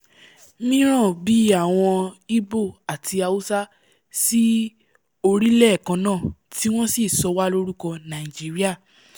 míràn bíi àwọn igbo àti hausa sí orílẹ̀ kannáà tí wọ́n sì sọ wá lórúkọ "nigeria"